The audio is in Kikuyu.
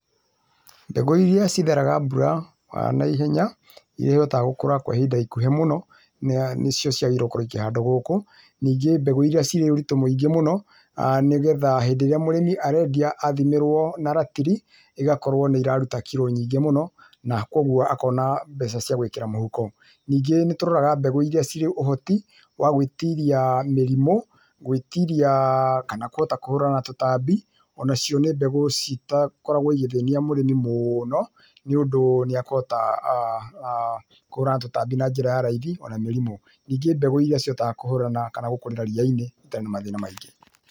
Mbegu iria citheraga mbura, na ihenya iria ihotaga gũkũra kwa ihinda ikuhĩ mũno, nĩcio ciagĩrĩire nĩ kũrekio handũ gũkũ, Ningĩ mbegũ iria cirĩ ũritũ mũingĩ mũno, nĩgetha hĩndĩ ĩrĩa mũrĩmi arendia, athimĩrwo na ratiri, igakorwo nĩ iraruta kiro nyingĩ mũno, na koguo akona mbeca cia gwĩkĩra mũhuko. Ningĩ nĩ tũroraga mbegũ iria cirĩ ũhoti, wa gwĩtiria mĩrimũ, gwĩtiria kana kũhota kũhũrana na tũtambi, o na cio nĩ mbegũ citakoragwo igĩthĩnia mũrĩmi mũno, nĩũndũ nĩakũhota aah kũhũrana na tũtambi na njĩra ya raithi, o na mĩrimũ. Ningĩ mbegũiria ihotaga kũhũrana kana gũkũrĩra ria-inĩ itarĩ na mathĩna maingĩ.